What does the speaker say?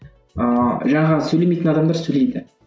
ыыы жаңағы сөйлемейтін адамдар сөйлейді